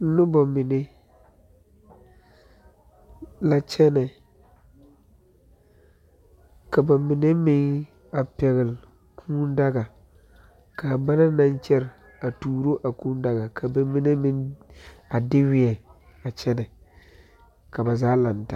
Nobɔ mine la kyɛnɛ ka ba mine meŋ a pɛgle kūū daga kaa ba naŋ naŋ kyɛre a tuuro a kūū daga ka ba mine meŋ a de weɛ a kyɛnɛ ka ba zaa laŋtaa.